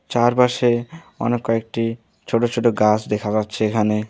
চারপাশে অনেক কয়েকটি ছোট ছোট গাছ দেখা যাচ্ছে এখানে।